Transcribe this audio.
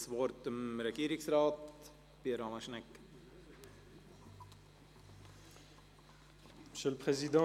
Ich erteile Regierungsrat Pierre Alain Schnegg das Wort.